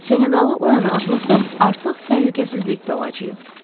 Seneqallı oyana adlasaq, artıq təhlükəsizlikdə olacağıq.